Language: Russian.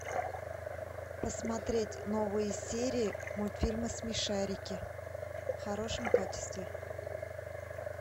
посмотреть новые серии мультфильма смешарики в хорошем качестве